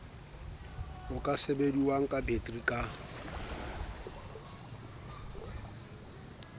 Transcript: e ka sebediwang betere ka